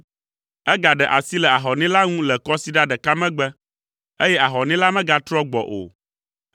Egaɖe asi le ahɔnɛ la ŋu le kɔsiɖa ɖeka megbe, eye ahɔnɛ la megatrɔ gbɔ o.